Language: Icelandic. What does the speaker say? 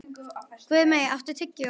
Guðmey, áttu tyggjó?